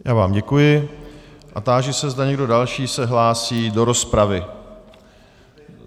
Já vám děkuji a táži se, zda někdo další se hlásí do rozpravy.